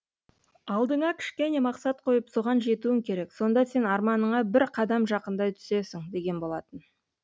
алдыңа кішкене мақсат қойып соған жетуің керек сонда сен арманыңа бір қадам жақындай түсесің деген болатын